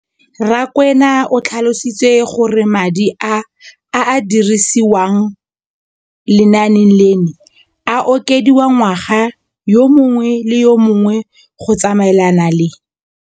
Rakwena o tlhalositse gore madi a a dirisediwang lenaane leno a okediwa ngwaga yo mongwe le yo mongwe go tsamaelana le.